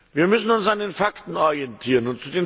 Wir müssen uns an den Fakten orientieren.